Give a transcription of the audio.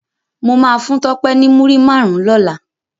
Mó má fún Tope ni múri márùn lòlá